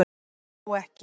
Ég hló ekki